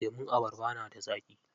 Lemun abarba na da zaƙi.